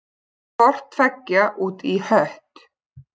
Hvort tveggja út í hött.